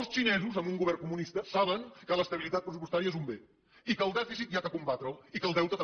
els xinesos amb un govern comunista saben que l’estabilitat pressupostària és un bé i que el dèficit s’ha de combatre i que el deute també